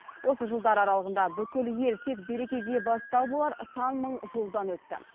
осы жылдар аралығында бүкіл ел тек берекеге бастау болар сан мыңжолдан өтті